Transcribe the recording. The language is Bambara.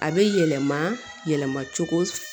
A bɛ yɛlɛma yɛlɛma cogo